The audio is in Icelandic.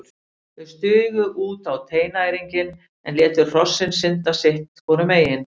Þau stigu út á teinæringinn en létu hrossin synda sitt hvoru megin.